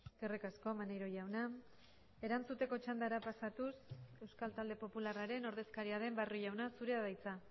eskerrik asko maneiro jauna erantzuteko txandara pasatuz euskal talde popularraren ordezkaria den barrio jauna zurea da hitza